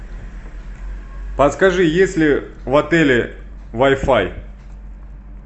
подскажи есть ли в отеле вай фай